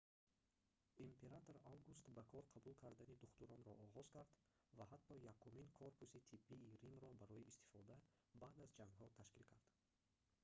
император август ба кор қабул кардани духтуронро оғоз кард ва ҳатто якумин корпуси тиббии римро барои истифода баъд аз ҷангҳо ташкил кард